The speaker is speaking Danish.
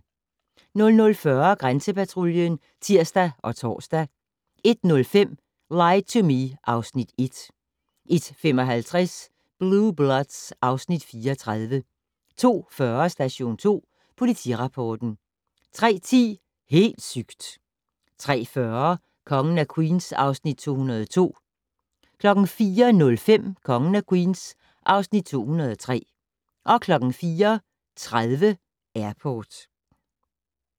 00:40: Grænsepatruljen (tir og tor) 01:05: Lie to Me (Afs. 1) 01:55: Blue Bloods (Afs. 34) 02:40: Station 2 Politirapporten 03:10: Helt sygt! 03:40: Kongen af Queens (Afs. 202) 04:05: Kongen af Queens (Afs. 203) 04:30: Airport